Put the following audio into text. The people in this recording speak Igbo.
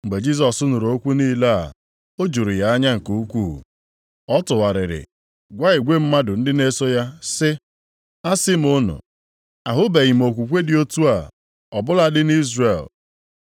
Mgbe Jisọs nụrụ okwu niile a, o juru ya anya nke ukwuu. Ọ tụgharịrị gwa igwe mmadụ ndị na-eso ya sị, “Asị m unu, ahụbeghị m okwukwe dị otu a ọ bụladị nʼIzrel.”